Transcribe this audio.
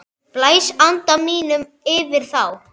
Blæs anda mínum yfir þá.